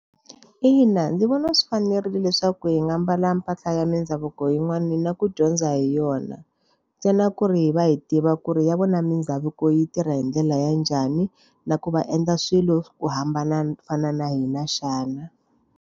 Ina ndzi vona swi fanerile leswaku hi nga mbala mpahla ya mindhavuko yin'wani na ku dyondza hi yona. Ntsena ku ri hi va hi tiva ku ri ya vona mindhavuko yi tirha hi ndlela ya njhani, na ku va endla swilo ku hambana fana na hina xana.